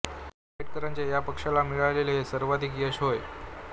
आंबेडकरांचा या पक्षाला मिळालेले हे सर्वाधिक यश होय